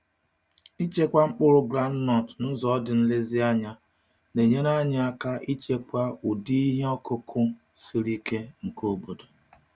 Ịchekwa mkpụrụ gwụndnut n’ụzọ dị nlezianya na-enyere anyị aka ịchekwa ụdị ihe ọkụkụ siri ike nke obodo.